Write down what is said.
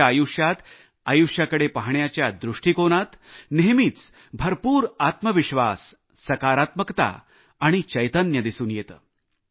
त्याच्या आयुष्यात आयुष्याकडे पाहण्याच्या दृष्टिकोनात नेहमीच भरपूर आत्मविश्वास सकारात्मकता आणि चैतन्य दिसून येते